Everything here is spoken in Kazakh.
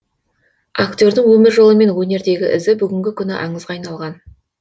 актердің өмір жолы мен өнердегі ізі бүгінгі күні аңызға айналған